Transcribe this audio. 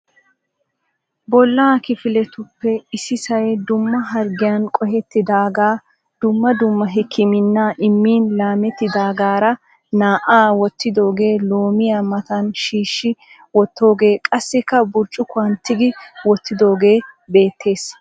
Bolla kifiletuppe issisay dumma harggiyaan qohettidaagaa dumma dumma hikimina immin laamettidagaara naa'aa wootidoogee, loomiyaa matan shiishi wotogee, qassikka burccukkuwan tigi wottidoogee beettees.